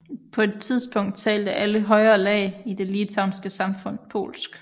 På et tidspunkt talte alle højere lag i det litauiske samfund polsk